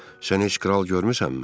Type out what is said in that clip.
Sən heç kral görmüsənmi?